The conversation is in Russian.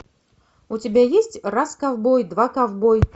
у тебя есть раз ковбой два ковбой